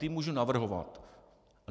Ty můžu navrhovat.